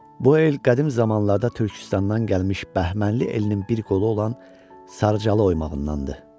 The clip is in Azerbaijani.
Bu el qədim zamanlarda Türküstandan gəlmiş Bəhmənli elinin bir qolu olan Sarucalı oymağındandır.